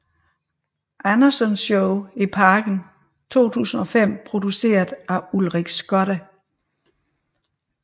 Andersen show i Parken i 2005 produceret af Ulrik Skotte